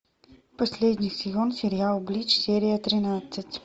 последний сезон сериал блич серия тринадцать